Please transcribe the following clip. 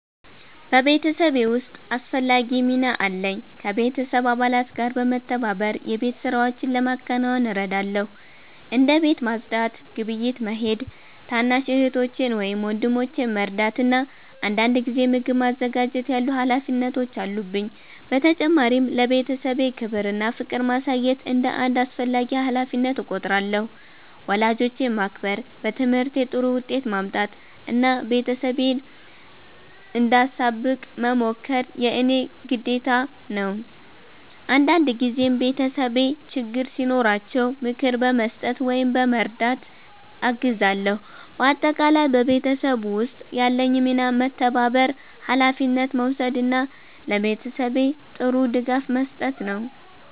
በቤተሰቤ ውስጥ አስፈላጊ ሚና አለኝ። ከቤተሰብ አባላት ጋር በመተባበር የቤት ሥራዎችን ለማከናወን እረዳለሁ። እንደ ቤት ማጽዳት፣ ግብይት መሄድ፣ ታናሽ እህቶቼን ወይም ወንድሞቼን መርዳት እና አንዳንድ ጊዜ ምግብ ማዘጋጀት ያሉ ሀላፊነቶች አሉብኝ። በተጨማሪም ለቤተሰቤ ክብር እና ፍቅር ማሳየት እንደ አንድ አስፈላጊ ሀላፊነት እቆጥራለሁ። ወላጆቼን ማክበር፣ በትምህርቴ ጥሩ ውጤት ማምጣት እና ቤተሰቤን እንዳሳብቅ መሞከር የእኔ ግዴታ ነው። አንዳንድ ጊዜም ቤተሰቤ ችግር ሲኖራቸው ምክር በመስጠት ወይም በመርዳት አግዛለሁ። በአጠቃላይ በቤተሰብ ውስጥ ያለኝ ሚና መተባበር፣ ሀላፊነት መውሰድ እና ለቤተሰቤ ጥሩ ድጋፍ መስጠት ነው።